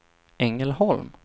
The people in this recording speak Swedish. Ängelholm